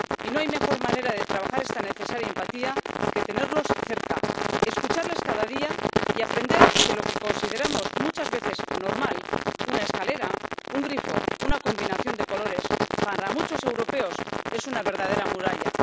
Y no hay mejor manera de trabajar esta necesaria empatía que tenerlos cerca, escucharles cada día y aprender que lo que consideramos muchas veces normal —una escalera, un grifo, una combinación de colores— para muchos europeos es una verdadera muralla.